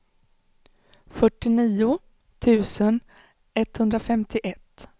fyrtionio tusen etthundrafemtioett